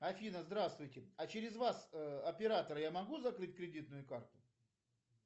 афина здравствуйте а через вас оператора я могу закрыть кредитную карту